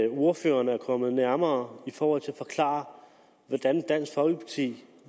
ordføreren er kommet nærmere i forhold til at forklare hvordan dansk folkeparti